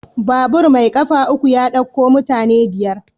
Babur mai ƙafa uku ya ɗauko mutane biyar.